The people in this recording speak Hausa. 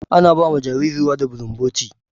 Ana ba wa jarirai ruwa da bulumboti